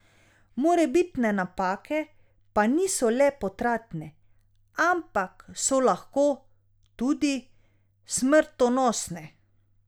Morebitne napake pa niso le potratne, ampak so lahko tudi smrtonosne.